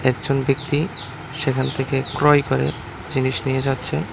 একজন ব্যক্তি সেখান থেকে ক্রয় করে জিনিস নিয়ে যাচ্ছে।